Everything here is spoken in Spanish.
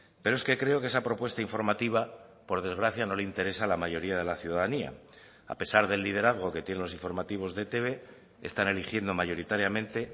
pero es que creo que esa propuesta informativa por desgracia no le interesa a la mayoría de la ciudadanía a pesar del liderazgo que tiene los informativos de etb están eligiendo mayoritariamente